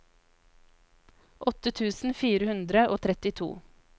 åtte tusen fire hundre og trettito